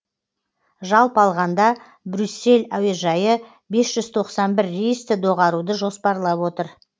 жалпы алғанда брюссель әуежайы бес жүз тоқсан бір рейсті доғаруды жоспарлап отыр